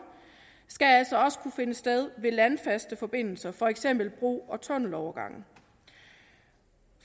skal altså også kunne finde sted ved landfaste forbindelser for eksempel ved bro og tunnelovergange